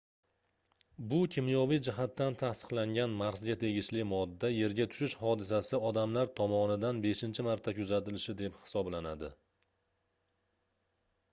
bu kimyoviy jihatdan tasdiqlangan marsga tegishli modda yerga tushishi hodisasi odamlar tomomidan beshincha marta kuzatilishi deb hisoblanadi